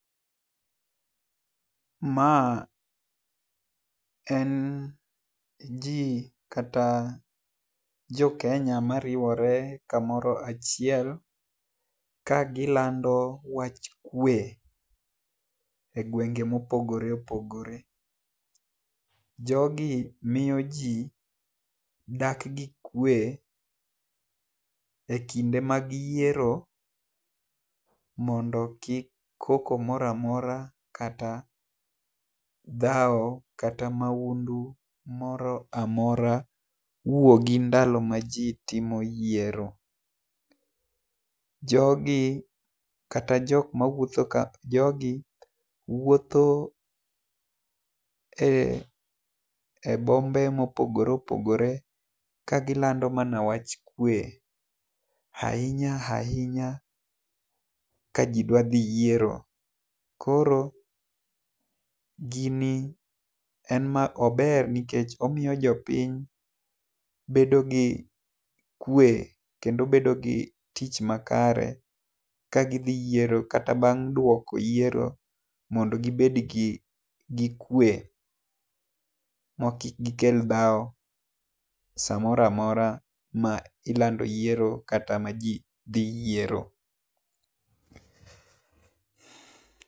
Ma en ji kata jokenya ma riwore ka moro achiel ka gi lando wach kwe gwenge ma opogore opogore. Jo gi miyo ji dak gi kwe e kinde mag yiero mondo kik koko moro amora, kata dhawo ,kata maundu, moro amora wuogi ndalo ma ji timo yiero. Jo gi kata jok ma wuotho kae ,jogi wuotho e bombe ma opogore opogore ka gi lando mana wach kwe. Ainya ainya ka ji dwa dhi yiero koni en ma ober nikech omiyo jopiny bedo gi kwe kendo bedo gi tich makare ka gi dhi yiero kata bang' dwoko yiero mondo gi bed gi kwe ma kik gi kel dhawo sa moro amora ma ilando yiero kata ma ji dhi yiero.